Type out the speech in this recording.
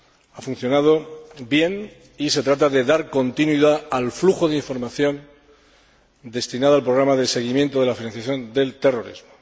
Ha funcionado bien y se trata de dar continuidad al flujo de información destinada al programa de seguimiento de la financiación del terrorismo.